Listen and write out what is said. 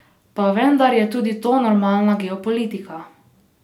Pa vendar je tudi to normalna geopolitika.